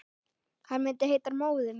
Hann myndi heita Móðir mín.